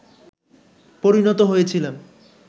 পরিণত হয়েছিলাম